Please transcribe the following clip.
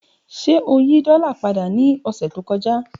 Ṣe o yi dola pada ni ọsẹ to kọja?